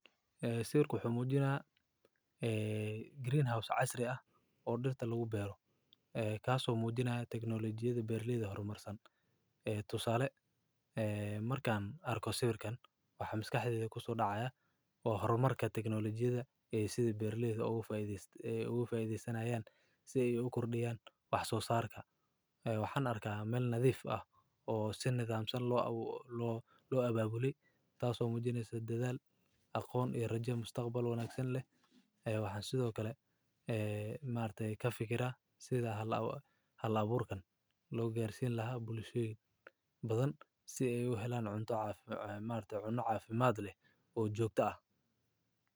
Eee Sawirku wuxuu muujinayaa, ee, green house casri ah oo dhirta lagu beero. Eh, kaasoo muujinaya tagnolijiyadu beerliyada horumarsan. Eh, tusaale, eh, markaan arkoo siirkan wax hamska xigta kusoo dhacaya oo hormarka tagnolijiyada, ee, sida beerliyada u fududeysan, ee, u fududeysanayaan si ay u kordhiyaan wax soo saarka. Waxaan arkaa meel nadiif ah oo si nataamsan loo, loo, loo abaabuli. Taasoo muujinaysa dedaal aqoon iyo rajyo mustaqbal wanaagsan leh. Waxaan sidoo kale, eh, maarte ka fikirahay sida hal hal abuurkan loo gaarsii lahaa boolisiin badan si ay u helaan cunto caafi, eh, maalta cuno caafimaad leh oo joogta ah.